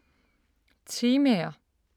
Temaer